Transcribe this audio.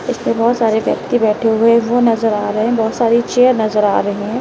इस पे बोहोत सारे व्यक्ति बैठे हुए वो नजर आ रहे हैं। बोहोत सारी चेयर नजर आ रही हैं।